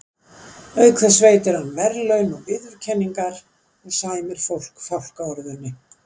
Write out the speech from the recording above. Auk þess veitir hann verðlaun og viðurkenningar og sæmir fólk fálkaorðunni.